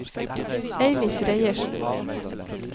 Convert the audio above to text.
Eilif Reiersen